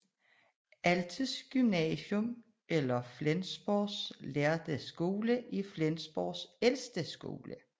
Altes Gymnasium eller Flensborg lærde Skole er Flensborgs ældste skole